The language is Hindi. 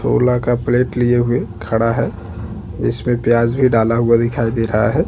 खाना का प्लेट लिए हुए खड़ा है जिसमें प्याज भी डाला हुआ दिखाई दे रहा है।